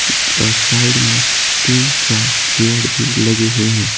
और साइड में तीन चार चेयर भी लगे हुए हैं।